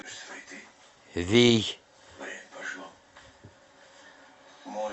вий